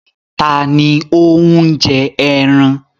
Ta ni ó ń jẹ ẹran?